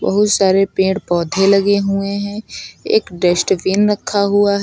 बहुत सारे पेड़ पौधे लगे हुए हैं एक डस्टबिन रखा हुआ है।